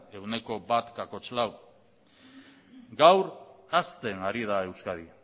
ehuneko bat koma lau gaur hazten ari da euskadi